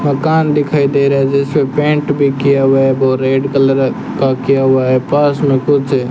मकान दिखाई दे रहा है जिसपे पेंट भी किया हुआ है वो रेड कलर का किया हुआ है पास में कुछ --